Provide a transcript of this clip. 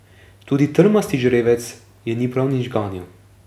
Tudi trmasti žrebec je ni prav nič ganil.